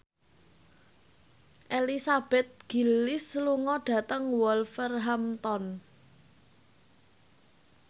Elizabeth Gillies lunga dhateng Wolverhampton